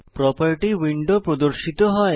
property window প্রর্দশিত হয়